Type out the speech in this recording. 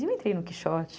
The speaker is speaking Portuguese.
E eu entrei no Quixote.